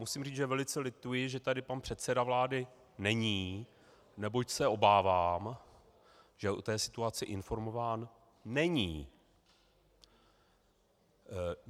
Musím říct, že velice lituji, že tady pan předseda vlády není, neboť se obávám, že o té situaci informován není.